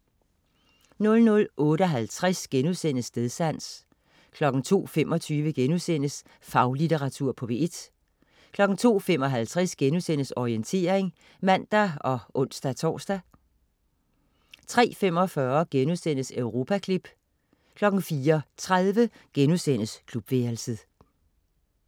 00.58 Stedsans* 02.25 Faglitteratur på P1* 02.55 Orientering* (man og ons-tors) 03.45 Europaklip* 04.30 Klubværelset*